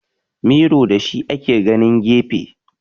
Miro da shi ake ganin gefe